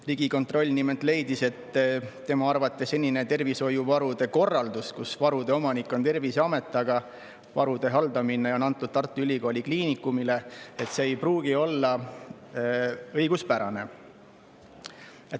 Riigikontroll nimelt leidis, et tema arvates ei pruugi senine tervishoiuvarude korraldus, nii et varude omanik on Terviseamet, aga varude haldamine on antud Tartu Ülikooli Kliinikumile, olla õiguspärane.